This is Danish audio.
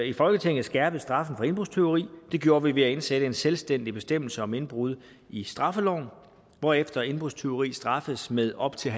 i folketinget skærpet straffen for indbrudstyveri det gjorde vi ved at indsætte en selvstændig bestemmelse om indbrud i straffeloven hvorefter indbrudstyveri straffes med op til